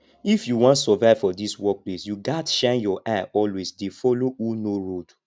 if you wan survive for dis place you gats shine your eye always dey follow who know road